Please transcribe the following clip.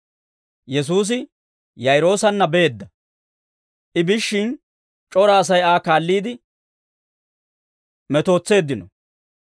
Yesuusi Yaa'iroosanna beedda; I biishshin c'ora Asay Aa kaalliidde metootseeddino.